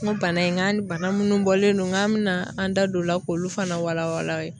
N ko bana in, n k'a ni bana munnu bɔlen don n k'an be na an da don o la k'olu fana wala wala aw ye.